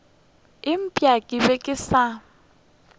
eupša ke be ke sa